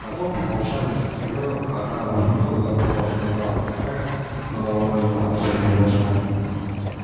потом помолчав несколько минут она глубоко вздохнула и сказала какая головою господи боже мой